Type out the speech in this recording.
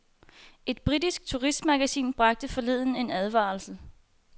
Et britisk turistmagasin bragte forleden en advarsel.